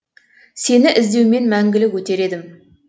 сені іздеумен мәңгілік өтер едім